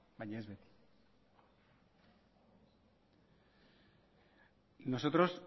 baina ez beti nosotros